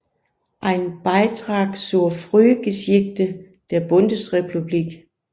Ein Beitrag zur Frühgeschichte der Bundesrepublik